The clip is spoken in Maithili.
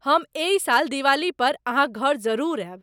हम एहि साल दिवाली पर अहाँक घर जरूर आयब।